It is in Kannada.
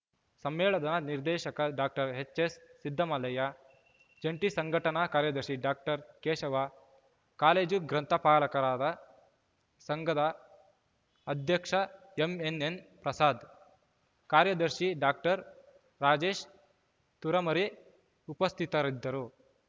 ಸಮ್ಮೇಳನದ ನಿರ್ದೇಶಕ ಡಾಕ್ಟರ್ ಎಚ್ ಎಸ್ ಸಿದ್ದಮಲ್ಲಯ್ಯ ಜಂಟಿ ಸಂಘಟನಾ ಕಾರ್ಯದರ್ಶಿ ಡಾಕ್ಟರ್ ಕೇಶವ ಕಾಲೇಜು ಗ್ರಂಥಪಾಲಕರ ಸಂಘದ ಅಧ್ಯಕ್ಷ ಎಂಎನ್ಎನ್ ಪ್ರಸಾದ್ ಕಾರ್ಯದರ್ಶಿ ಡಾಕ್ಟರ್ ರಾಜೇಶ್ ತುರಮರಿ ಉಪಸ್ಥಿತರಿದ್ದರು